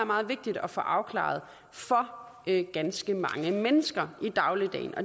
meget vigtigt at få afklaret for ganske mange mennesker i dagligdagen